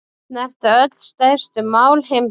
Snerta öll stærstu mál heimsins